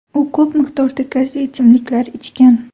U ko‘p miqdorda gazli ichimliklar ichgan.